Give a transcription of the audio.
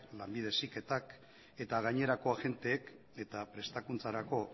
lanbide heziketak eta gainerako agenteek eta prestakuntzarako